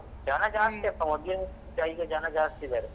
ಜನ ಜಾಸ್ತಿಯಪ್ಪ ಮೊದ್ಲಿಗಿಂತ ಈಗ ಜನ ಜಾಸ್ತಿ ಇದಾರೆ.